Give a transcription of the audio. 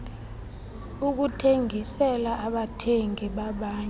ukuthengisela abathengi bamanye